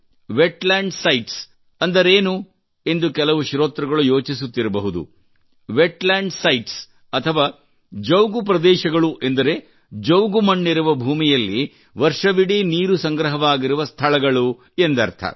wetlands ಅಂದರೇನು ಎಂದು ಕೆಲವು ಶ್ರೋತೃಗಳು ಯೋಚಿಸುತ್ತಿರಬಹುದು ವೆಟ್ಲ್ಯಾಂಡ್ ಸೈಟ್ಸ್ ಅಥವಾ ಜೌಗು ಪ್ರದೇಶಗಳು ಎಂದರೆ ಜೌಗು ಮಣ್ಣಿರುವ ಭೂಮಿಯಲ್ಲಿ ವರ್ಷವಿಡೀ ನೀರು ಸಂಗ್ರಹವಾಗಿರುವ ಸ್ಥಳಗಳು ಎಂದರ್ಥ